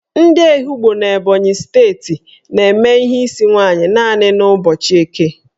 Ndị Ehugbo n'Ebonyi steeti na-eme ihe n'isi nwaanyị naanị n' ụbọchị Eke